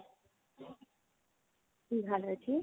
ਕੀ ਹਾਲ ਆ ਜੀ